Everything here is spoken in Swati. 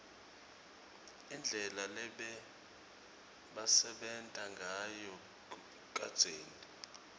indlela lebebasebenta ngayo kadzeni